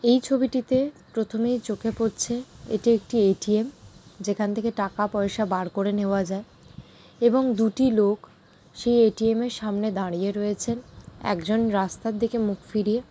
এই ছবিটিতে-এ প্রথমে চোখে পড়ছে-এ এটি একটি এ.টি.এম যেখান থেকে টাকা পয়সা বার করে নেওয়া যায় এবং দুটি লোক সেই এ.টি.এম এর সামনে দাঁড়িয়ে রয়েছেন একজন রাস্তার দিকে মুখ ফিরিয়ে--